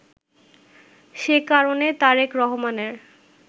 সে কারণে তারেক রহমানের